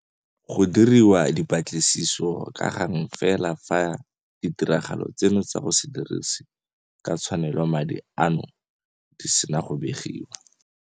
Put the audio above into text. Go diriwa dipatlisiso ka gang fela fa ditiragalo tseno tsa go se dirise ka tshwanelo madi ano di sena go begiwa.